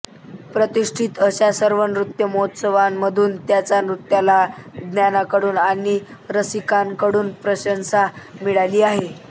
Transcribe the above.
प्रतिष्ठित अशा सर्व नृत्य महोत्सवांमधून त्यांच्या नृत्याला ज्ञात्यांकडून आणि रसिकांकडून प्रशंसा मिळाली आहे